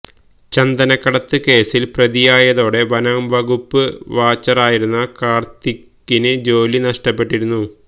ചന്ദനക്കടത്ത് കേസില് പ്രതിയായതോടെ വനംവകുപ്പ് വാച്ചറായിരുന്ന കാര്ത്തിക്കിന് ജോലി നഷ്ടപ്പെട്ടിരുന്നു